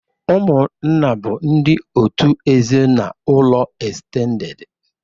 Ụmụ nna bụ ndi òtù ezinụlọ estendedị.